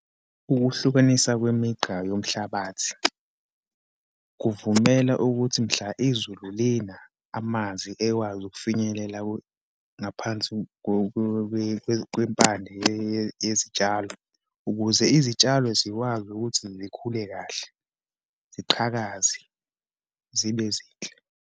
Ukuhlukanisa kwemigqa yomhlabathi, kuvumela ukuthi mhla izulu lina, amanzi ekwazi ukufinyelela ngaphansi kwempande yezitshalo ukuze izitshalo zikwazi ukuthi zikhule kahle, ziqhakaze, zibe zinhle.